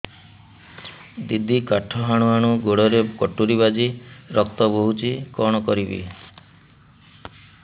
ଦିଦି କାଠ ହାଣୁ ହାଣୁ ଗୋଡରେ କଟୁରୀ ବାଜି ରକ୍ତ ବୋହୁଛି କଣ କରିବି